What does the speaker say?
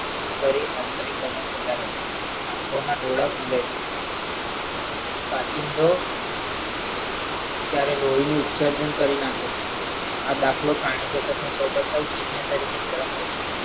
શરીર આંતરિક આંખોના ડોળા ફુલાય છે, કાચિંડો ત્યારે લોહી નું ઉત્સર્જન કરી નાખે છે, આ દાખલો પ્રાણીજગતના